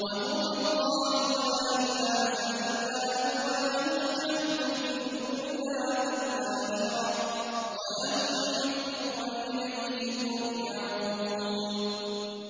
وَهُوَ اللَّهُ لَا إِلَٰهَ إِلَّا هُوَ ۖ لَهُ الْحَمْدُ فِي الْأُولَىٰ وَالْآخِرَةِ ۖ وَلَهُ الْحُكْمُ وَإِلَيْهِ تُرْجَعُونَ